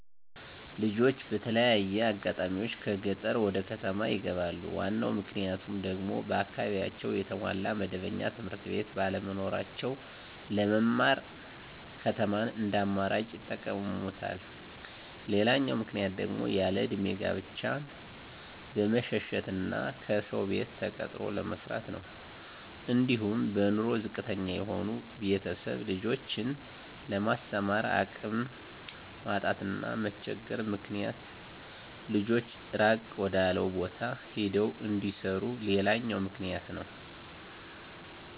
ልጆች በተለያየ አጋጣሚዎች ከገጠር ወደከተማ ይገባሉ ዋናው ምክንያቱም ደግሞ በአካባቢያቸው የተሟላ መደበኛ ትምህርትቤት ባለመኖራቸው ለመማር ከተማን እንደአማራጭ ይጠቀመማሉ። ሌላው ምክንያት ደግሞ ያለእድሜ ጋብቻን በመሸሸት እና ከሰው ቤት ተቀጥሮ ለመስራት ነው። አንዲሁም በኑሮ ዝቅተተኛ የሆኑ ቤተሰብ ልጆችን ለማስተማር አቅም ማጣት እና መቸገር ምክንያት ልጆች እራቅ ወዳለው ቦታ ሄደው እንዲሰሩ ሌላውኛው ምክንያት ነው።